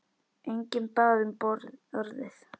Enginn bað um orðið.